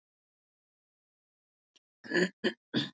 Það er vissara að hafa tímasetningu funda á hreinu.